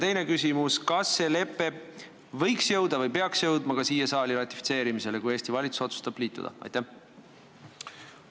Teine küsimus: kas see lepe võiks jõuda või peaks jõudma ka siia saali ratifitseerimisele, kui Eesti valitsus otsustab sellega liituda?